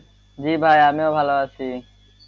জি ভায়া আমিও ভালো আছি,